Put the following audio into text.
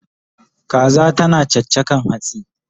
Kaza tana chachakan hatsi